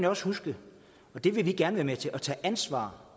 også huske vi vil gerne være med til at tage ansvar